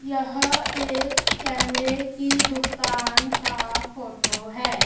यह एक कैमरे की दुकान का फोटो है।